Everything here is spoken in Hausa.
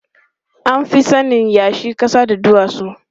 An fi sanin yashi, ƙasa da duwatsu.